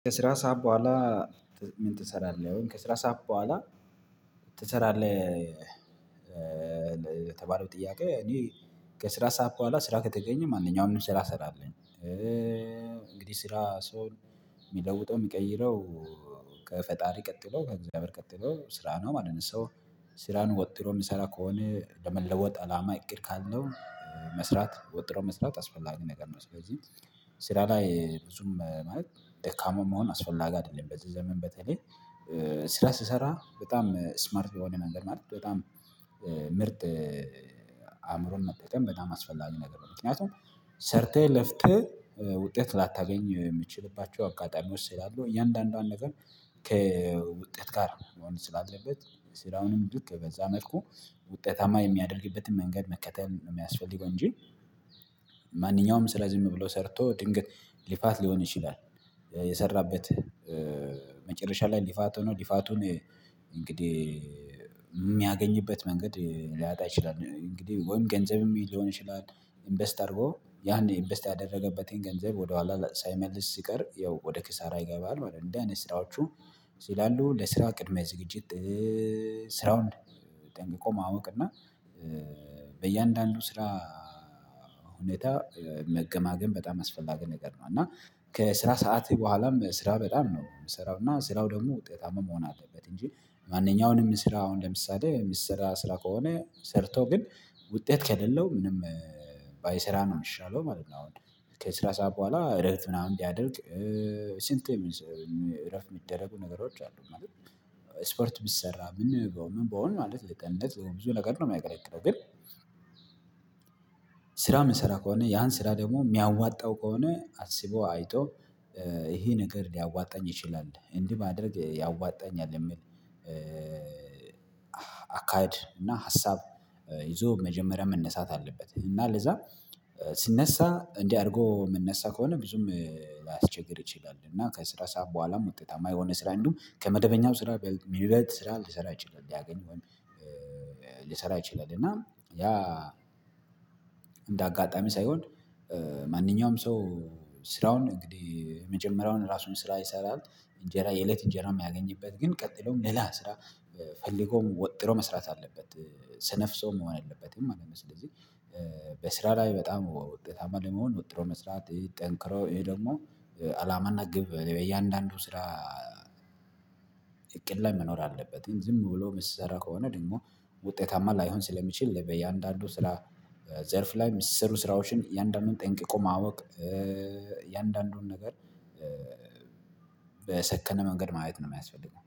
ከስራ ሰዓት በኋላ? ምን ትሰራለህ ወይም ከስራ ሰዓት በኋላ ትሰራለህ ጥያቄ? እኔ ከስራ ሰዓት በኋላ ስራ ከተገኘ ማንኛውንም ስራ እሰራለሁ። እንግዲህ ስራ ሰውን የሚለውጠው የሚቀይረው ከፈጣሪ ቀጥሎ ከእግዚአብሔር ቀጥሎ ስራ ነው ማለት ነው። ሰው ስራን ወጥሮ የምሰራ ከሆነ ለመለወጥ አላማ እቅድ ካለው መስራት ወጥሮ መስራት አስፈላጊ ነገር ነው። ስለዚህ ስራ ላይ ብዙም ማለት ደካማ መሆን አስፈላጊ አይደለም። በዚህ ዘመን በተለይ ስራ ስሰራ በጣም ስማርት በሆነ መንገድ ማለት በጣም ምርጥ አእምሮን መጠቀም በጣም አስፈላጊ ነገር ነው። ምክንያቱም ሰርተህ ለፍተህ ውጤት ላታገኝ የምችልባቸው አጋጣሚዎች ስላሉ እያንዳንዷን ነገር። ከውጤት ጋር ስላለበት ስራውንም ልክ በዛ መልኩ ውጤታማ የሚያደርግበትን መንገድ መከተል ነው የሚያስፈልገው እንጂ። ማንኛውም ስለዚህ ዝም ብሎ ሰርቶ ድንገት ልፋት ሊሆን ይችላል። የሰራበት ላይ ልፋት ሆኖ ልፋቱን እንግዲህ የሚያገኝበት መንገድ ሊያጣ ይችላል። እንግዲህ ወይም ገንዘብም ሊሆን ይችላል። ኢንቨስት አድርጎ ያኔ ኢንቨስት ያደረገበትን ገንዘብ ወደኋላ ሳይመልስ ሲቀር ያው ወደ ኪሳራ ይገባል ማለት ነው። እንዲህ አይነት ስራዎቹ ስላሉ ለስራ ቅድሚያ ዝግጅት ስራውን ጠንቅቆ ማወቅና በእያንዳንዱ ስራ ሁኔታ መገማገም በጣም አስፈላጊ ነገር ነው። እና ከስራ ሰዓቴ በኋላም ስራ በጣም ነው የምሰራው እና ስራው ደግሞ ውጤታማ መሆን አለበት እንጂ። ማንኛውንም ስራ አሁን ለምሳሌ የምትሰራ ስራ ከሆነ ሰርተው ግን ውጤት ከሌለው ምንም ባይሰራ ነው የሚሻለው ማለት ነው። አሁን ከስራ ሰዓት በኋላ እረፍት ምናምን ሊያደርግ ስንት? እረፍት የሚደረጉ ነገሮች አሉ። ስፖርት ቢሰራ ምን መሆን ማለት ለጤንነት ለብዙ ነገር ነው የማያገለግለው ግን። ስራ የምንሰራ ከሆነ ያን ስራ ደግሞ የሚያዋጣው ከሆነ አስቦ አይቶ ይሄ ነገር ሊያዋጣኝ ይችላል እንዲህ ማድረግ ያዋጣኛል የሚል። አካሄድ እና ሀሳብ ይዞ መጀመሪያ መነሳት አለበት። እና ለዛ ሲነሳ እንዲህ አድርጎ መነሳት ከሆነ ብዙም ሊያስቸግር ይችላል። እና ከስራ ሰዓት በኋላም ውጤታማ የሆነ ስራ እንደውም ከመደበኛው ስራ ሚበልጥ ስራ ሊሰራ ይችላል ሊያገኝ ወይም። ልሰራ ይችላል። እና ያ እንደ አጋጣሚ ሳይሆን ማንኛውም ሰው ስራውን እንግዲህ የመጀመሪያውን ራሱን ስራ ይሰራል። እንጀራ የእለት እንጀራ የሚያገኝበት ግን ቀጥሎም ሌላ ስራ ፈልጎም ወጥሮ መስራት አለበት። ሰነፍ ሰው መሆን የለበትም ማለት ነው። ስለዚህ በስራ ላይ በጣም ውጤታማ ለመሆን ወጥሮ መስራት ጠንክሮ ይሄ ደግሞ አላማና ግብ በየአንዳንዱ ስራ እቅድ ላይ መኖር አለበት። ዝም ብሎ የምትሰራ ከሆነ ደግሞ ውጤታማ ላይሆን ስለሚችል በየአንዳንዱ ስራ ዘርፍ ላይ እሚሰሩ ስራዎችን እያንዳንዱን ጠንቅቆ ማወቅ እያንዳንዱን ነገር በሰከነ መንገድ ማየት ነው የሚያስፈልገው